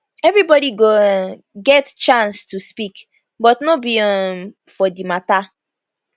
evribodi go um get chance to speak but no be um for di matter